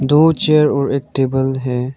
दो चेयर और एक टेबल है।